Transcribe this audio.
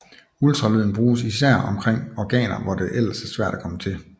Ultralyden bruges især omkring organer hvor det ellers er svært at komme til